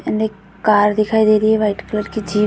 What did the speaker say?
Car दिखाई दे रही है। वाइट कलर की जीप --